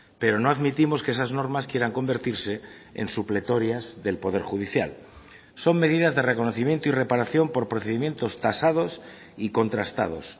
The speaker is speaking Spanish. pero no admitimos que esas normas quieran convertirse en supletorias del poder judicial son medidas de reconocimiento y reparación por procedimientos tasados y contrastados